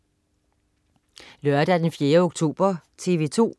Lørdag den 4. oktober - TV 2: